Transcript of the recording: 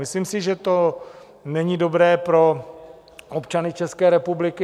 Myslím si, že to není dobré pro občany České republiky.